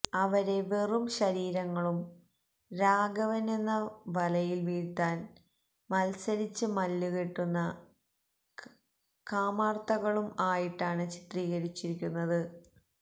അവരെ വെറും ശരീരങ്ങളും രാഘവന്നെ വലയിൽ വീഴ്ത്താൻ മത്സരിച്ച് മല്ലുകെട്ടുന്ന കാമാർത്തകളും ആയിട്ടാണ് ചിത്രീകരിച്ചിരിക്കുന്നത്